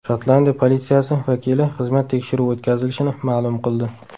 Shotlandiya politsiyasi vakili xizmat tekshiruvi o‘tkazilishini ma’lum qildi.